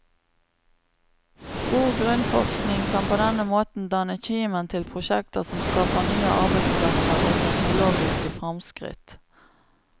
God grunnforskning kan på denne måten danne kimen til prosjekter som skaper nye arbeidsplasser og teknologiske fremskritt.